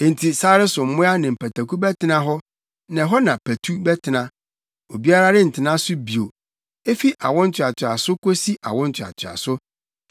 “Enti sare so mmoa ne mpataku bɛtena hɔ, na ɛhɔ na patu bɛtena. Obiara rentena so bio efi awo ntoatoaso kosi awo ntoatoaso.